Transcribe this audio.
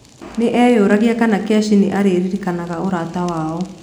Nĩ eeyũragia kana Keshi nĩ aaririkanaga ũrata wao.